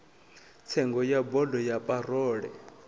tsengo ya bodo ya parole